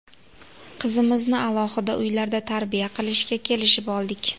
Qizimizni alohida uylarda tarbiya qilishga kelishib oldik.